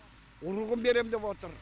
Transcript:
ұрығын берем деп отыр